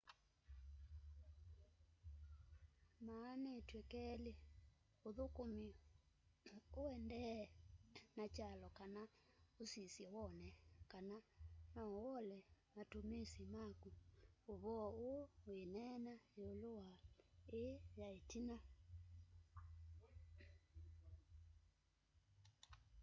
maanîtw'e kelî: ûthûkûme ûendeeye na kyalo kana ûsisye wone kana noûole matumisi maku. ûvoo ûû wîneenea yîûlû wa îî ya îtina